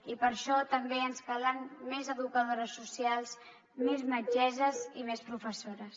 i per a això també ens calen més educadores socials més metgesses i més professores